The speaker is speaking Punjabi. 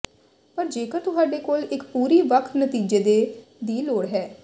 ਪਰ ਜੇਕਰ ਤੁਹਾਡੇ ਕੋਲ ਇੱਕ ਪੂਰੀ ਵੱਖ ਨਤੀਜੇ ਦੇ ਦੀ ਲੋੜ ਹੈ